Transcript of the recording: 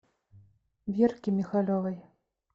верке михалевой